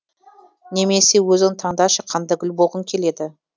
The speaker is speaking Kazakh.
немесе өзің таңдашы қандай гүл болғың келеді